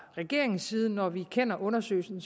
regeringens side når vi kender undersøgelsen